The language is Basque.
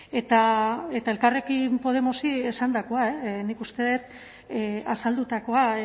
eta elkarrekin podemosi esandakoa nik uste dut azaldutakoa